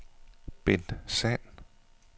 Bent Sand